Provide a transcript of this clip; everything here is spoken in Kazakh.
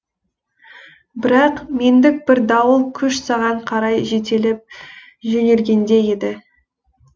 бірақ мендік бір дауыл күш саған қарай жетелеп жөнелгендей еді